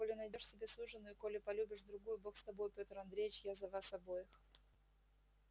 коли найдёшь себе суженую коли полюбишь другую бог с тобою пётр андреевич а я за вас обоих